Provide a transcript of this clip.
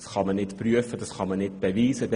Sie kann nicht geprüft und nicht bewiesen werden.